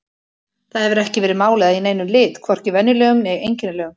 Það hefur ekki verið málað í neinum lit, hvorki venjulegum né einkennilegum.